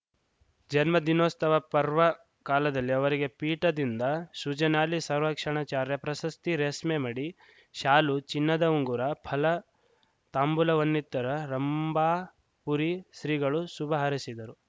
ಜನ್ಮ ದಿನೋಸ್ತವ ಪರ್ವ ಕಾಲದಲ್ಲಿ ಅವರಿಗೆ ಪೀಠದಿಂದ ಸುಜನಾಲಿ ಸಂರಕ್ಷಣಾಚಾರ್ಯ ಪ್ರಶಸ್ತಿ ರೇಸ್ಮೆ ಮಡಿ ಶಾಲು ಚಿನ್ನದ ಉಂಗುರ ಫಲ ತಾಂಬೂಲವನ್ನಿತ್ತರ ರಂಭಾಪುರಿ ಶ್ರೀಗಳು ಶುಭ ಹಾರೈಶಿದರು